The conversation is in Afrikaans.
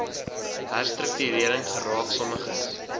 herstruktuering geraak sommiges